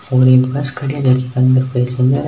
एक बस खड़ी है और अंदर पैसेंजर है।